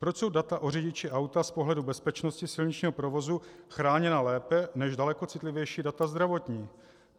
Proč jsou data o řidiči auta z pohledu bezpečnosti silničního provozu chráněna lépe než daleko citlivější data zdravotní?